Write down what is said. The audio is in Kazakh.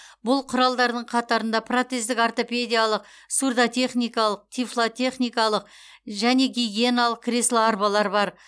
бұл құралдардың қатарында протездік ортопедиялық сурдотехникалық тифлотехникалық және гигиеналық кресло арбалар бар